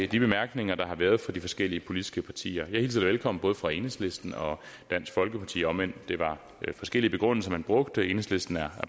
de bemærkninger der har været fra de forskellige politiske partier jeg hilser dem velkommen både fra enhedslisten og dansk folkeparti om end det var forskellige begrundelser man brugte enhedslisten er